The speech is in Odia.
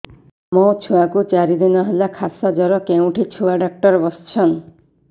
ମୋ ଛୁଆ କୁ ଚାରି ଦିନ ହେଲା ଖାସ ଜର କେଉଁଠି ଛୁଆ ଡାକ୍ତର ଵସ୍ଛନ୍